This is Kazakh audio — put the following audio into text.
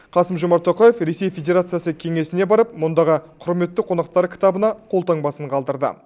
қасым жомарт тоқаев ресей федерациясы кеңесіне барып мұндағы құрметті қонақтар кітабына қолтаңбасын қалдырды